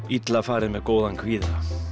illa farið með góðan kvíða